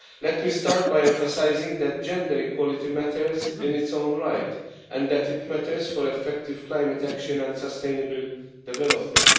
Let me start by emphasising that gender equality matters in its own right, and that it matters for effective climate action and sustainable development.